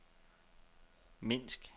Minsk